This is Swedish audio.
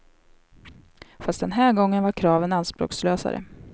Fast den här gången var kraven anspråkslösare.